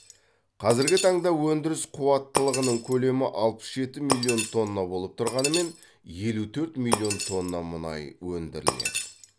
қазіргі таңда өндіріс қуаттылығының көлемі алпыс жеті миллион тонна болып тұрғанымен елу төрт миллион тонна мұнай өндіріледі